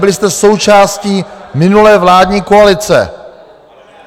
Byli jste součástí minulé vládní koalice.